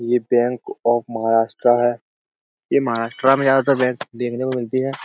ये bank of Maharashtra है। ये महाराष्ट्र में ज्यादातर बैंक देखने को मिलती हैं।